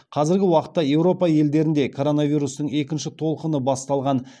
қазіргі уақытта еуропа елдерінде коронавирустың екінші толқыны басталған